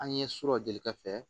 An ye so jɔlikɛ fɛ